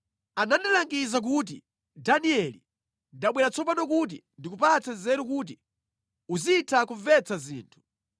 Anandilangiza kuti, “Danieli ndabwera tsopano kuti ndikupatse nzeru kuti uzitha kumvetsa zinthu.